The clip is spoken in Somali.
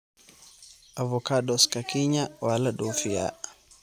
Avocados-ka Kenya waa la dhoofiyaa.